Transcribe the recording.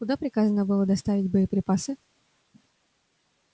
куда приказано было доставить боеприпасы